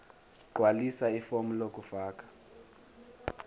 gqwalisa ifomu lokufaka